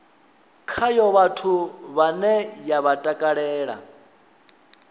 khayo vhathu vhane vha takalela